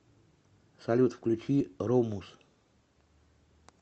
салют включи румус